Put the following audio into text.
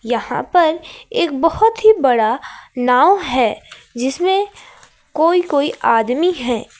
यहां पर एक बहुत ही बड़ा नाव है जिसमें कोई कोई आदमी है।